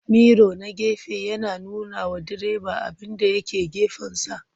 Miro na gefe yana nunawa direba abinda ya ke gefensa.